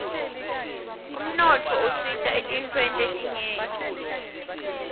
umnotfo usita etintfweni letinyenti